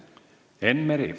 Enn Meri.